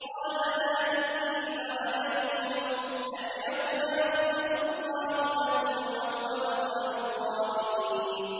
قَالَ لَا تَثْرِيبَ عَلَيْكُمُ الْيَوْمَ ۖ يَغْفِرُ اللَّهُ لَكُمْ ۖ وَهُوَ أَرْحَمُ الرَّاحِمِينَ